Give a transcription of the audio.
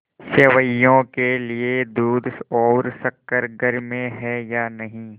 सेवैयों के लिए दूध और शक्कर घर में है या नहीं